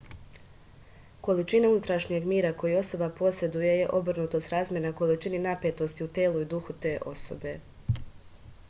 količina unutrašnjeg mira koji osoba poseduje je obrnuto srazmerna količini napetosti u telu i duhu te osobe